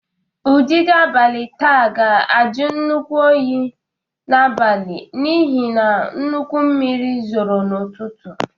Ụdidi abalị taa ga-ajụ nnukwu oyi n’abalị n’ihi na nnukwu mmiri zoro n’ụtụtụ.